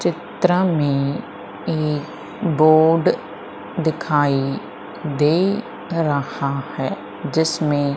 चित्र में एक बोर्ड दिखाई दे रहा है जिसमे--